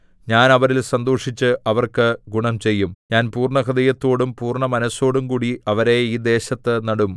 ഞാൻ അവരിൽ സന്തോഷിച്ച് അവർക്ക് ഗുണം ചെയ്യും ഞാൻ പൂർണ്ണഹൃദയത്തോടും പൂർണ്ണ മനസ്സോടുംകൂടി അവരെ ഈ ദേശത്തു നടും